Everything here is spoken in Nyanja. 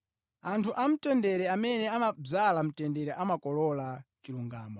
Anthu amtendere amene amadzala mtendere amakolola chilungamo.